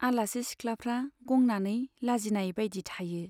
आलासि सिख्लाफ्रा गंनानै लजिनाय बाइदि थायो।